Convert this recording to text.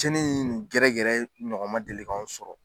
Cɛni in ni gɛrɛ gɛrɛ ɲɔgɔn ma deli k'an sɔrɔ